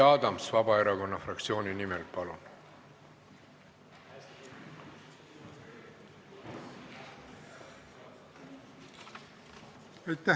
Jüri Adams Vabaerakonna fraktsiooni nimel, palun!